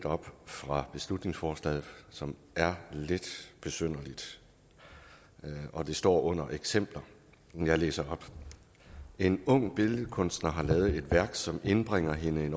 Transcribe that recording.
op fra beslutningsforslaget som er lidt besynderligt det står under eksempler og jeg læser op en ung billedkunstner har lavet et værk som indbringer hende en